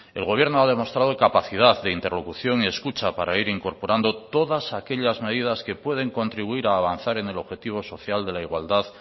el gobierno ha demostrado capacidad de interlocución y escucha para ir incorporando todas aquellas medidas que pueden contribuir a avanzar en el objetivo social de la igualdad